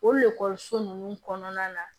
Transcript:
O lakɔliso ninnu kɔnɔna na